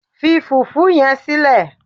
fi fufu yen sile